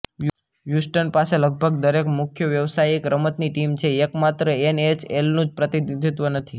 Houston પાસે લગભગ દરેક મુખ્ય વ્યાવસાયિક રમતની ટીમ છે એકમાત્ર એનએચએલનું જ પ્રતિનિધિત્વ નથી